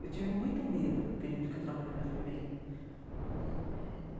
Eu tive muito medo no período que eu trabalhei na FEBEM né.